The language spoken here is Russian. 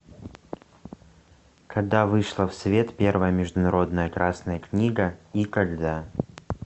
когда вышла в свет первая международная красная книга и когда